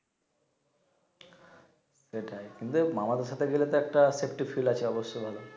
সেটাই কিন্তু মামা বাসা গেলে তো একটা সেফটি ফিল আছে অবশ্যই